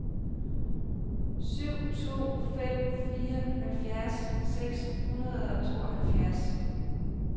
syv to fem fire halvfjerds seks hundrede og tooghalvfjerds